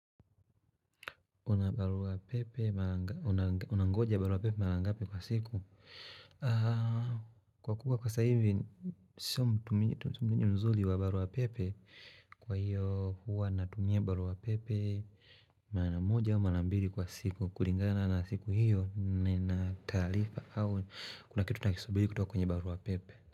Una barua pepe, unangoja barua pepe marangape kwa siku? Kwa kukua kwa saa hivi, sio mtuminye mzuli wa barua pepe Kwa hiyo huwa natumia barua pepe maramoja wa manambili kwa siku Kuringana na siku hiyo, nina tarifa au Kuna kitu nakisubili kutoka kwenye barua pepe.